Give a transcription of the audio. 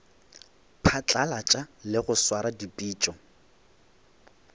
phatlalatša le go swara dipitšo